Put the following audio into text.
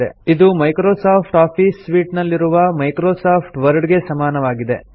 000027 000026 ಇದು Microsoft office suite ನಲ್ಲಿನ Microsoft Word ಗೆ ಸಮನಾಗಿದೆ